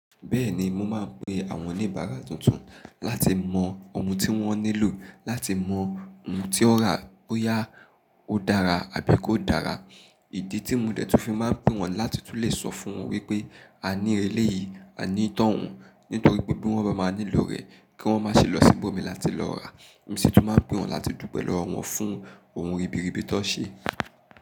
Bẹ́ẹ̀ni mo máa ń pe àwọn oníbàárà tuntun láti mọ ohun tí wọ́n nílò, láti mọ ohun tí ó rà bóyá ó dára àbí kò dára. Ìdí tí mo dẹ̀ tún fi máa ń pè wọ́n làti tún lè sọ fún wọn wípé a ní eléyìí, a ní tọ́hun nítorí pé bí wọ́n bá máa nílò rẹ̀ kí wọ́n má ṣe lọ síbòmí láti lọ rà. Èmi sì tún máa ń pè wọ́n láti dùpẹ́ lọ̀wọ̀ fún ohun ribiribi tó ṣe.